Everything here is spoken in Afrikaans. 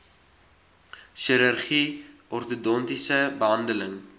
chirurgie ortodontiese behandeling